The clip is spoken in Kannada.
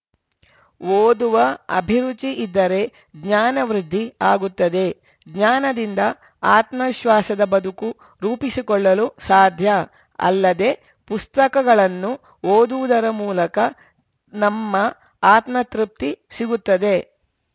ಓದುವ ಅಭಿರುಚಿ ಇದ್ದರೆ ಜ್ಞಾನವೃದ್ಧಿ ಆಗುತ್ತದೆ ಜ್ಞಾನದಿಂದ ಆತ್ಮವಿಶ್ವಾಸದ ಬದುಕು ರೂಪಿಸಿಕೊಳ್ಳಲು ಸಾಧ್ಯ ಅಲ್ಲದೆ ಪುಸ್ತಕಗಳನ್ನು ಓದುವುದರ ಮೂಲಕ ನಮ್ಮ ಆತ್ಮತೃಪ್ತಿ ಸಿಗುತ್ತದೆ